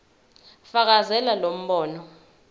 fakazela lo mbono